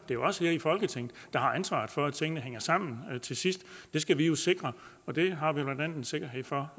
det er os her i folketinget der har ansvaret for at tingene hænger sammen til sidst det skal jo sikres og det har vi blandt andet en sikkerhed for